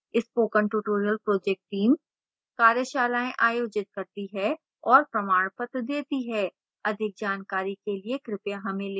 spoken tutorial team कार्यशालाएँ आयोजित करती है और प्रमाणपत्र देती है अधिक जानकारी के लिए कृपया हमें लिखें